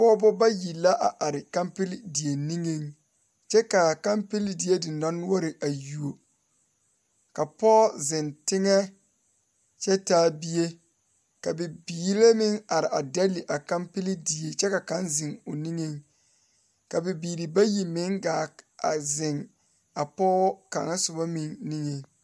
Pɔgeba bayi la are kampile die nigeŋ kyɛ kaa kampile die diŋdɔnoɔre a yuo ka pɔge ziŋ tegɛ kyɛ taa bie ka bibile meŋ are dɛlle a kampile die kyɛ ka kaŋ ziŋ o nigeŋ ka bibiiri bayi meŋ gaa ziŋ a pɔge kaŋa soba meŋ nigeŋ.